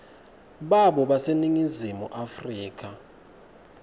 babo baseningizimu afrika